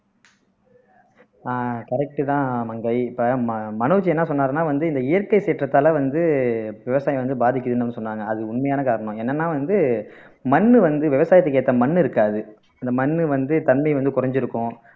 அஹ் correct தான் மங்கை இப்போ ம மனோஜ் என்ன சொன்னாருன்னா வந்து இந்த இயற்கை சீற்றத்தாலே வந்து விவசாயம் வந்து பாதிக்குதுன்னு வந்து சொன்னாங்க அது உண்மையான காரணம் என்னன்னா வந்து மண்ணு வந்து விவசாயத்துக்கு ஏத்த மண்ணு இருக்காது இந்த மண்ணு வந்து தன்மை வந்து குறைஞ்சிருக்கும்